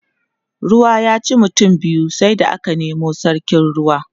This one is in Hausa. ruwa ya ci mutum biyu sai da aka Nemo sarkin ruwa